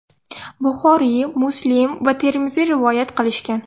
Buxoriy, Muslim va Termiziy rivoyat qilishgan.